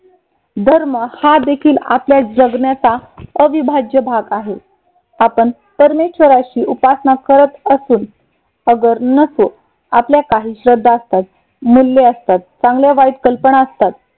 धर्म हा देखील आपल्या जगण्याचा अविभाज्य भाग आहे. आपण परमेश्वराशी उपासना करत असून अगर नसो. आपल्या काही श्रद्धा असतात मूल्य असतात. चांगल्या वाईट कल्पना असतात.